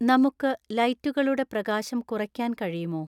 നമുക്ക് ലൈറ്റുകളുടെ പ്രകാശം കുറയ്ക്കാൻ കഴിയുമോ